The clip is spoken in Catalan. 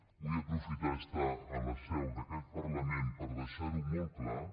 vull aprofitar d’estar a la seu d’aquest parlament per deixar ho molt clar